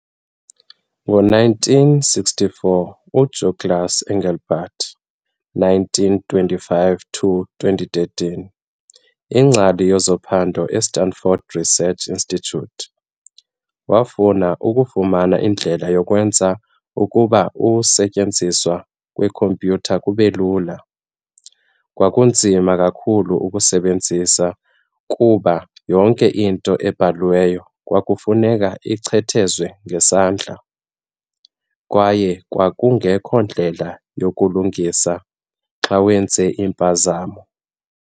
ngo-1964 uDouglas Engelbart, 1925-2013, ingcali yezophando eStanford Research Institute, wafuna ukufumana indlela yokwenza ukuba ukusetyenziswa kwekhompyutha kubelula. Kwakunzima kakhulu ukuzisebenzisa kuba yonke into ebhalwayo kwakufuneka ichwethezwe ngesandla, kwaye kwakungekho ndlela yokulungisa xa uyenze impazamo.